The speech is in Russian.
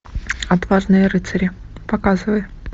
отважные рыцари показывай